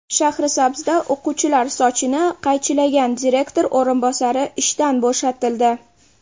Shahrisabzda o‘quvchilar sochini qaychilagan direktor o‘rinbosari ishdan bo‘shatildi.